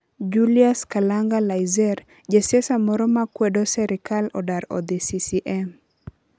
Julius kalanga Laizer; jasiaisa moro makwedo serikal odar odhii CCM